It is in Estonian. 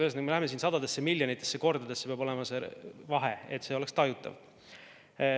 Ühesõnaga, me jõuame siin sadade miljonite kordadeni, peab olema see vahe, et see oleks tajutav.